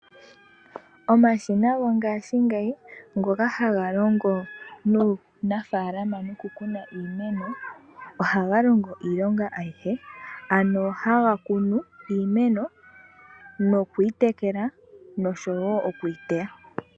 Omashina gongaashingeyi ngoka haga longo muunafaalama noku kuna iimeno ohaga longo iilonga ayihe ano haga kunu iimeno nokuyi tekela noshowo oku yiteya.